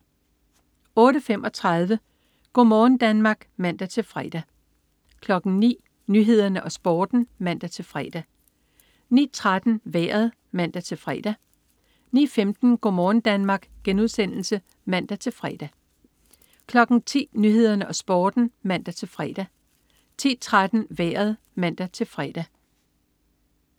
08.35 Go' morgen Danmark (man-fre) 09.00 Nyhederne og Sporten (man-fre) 09.13 Vejret (man-fre) 09.15 Go' morgen Danmark* (man-fre) 10.00 Nyhederne og Sporten (man-fre) 10.13 Vejret (man-fre)